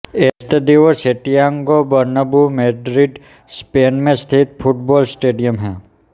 Estadio Santiago Bernabeu Madrid Spain में स्थित football stadium है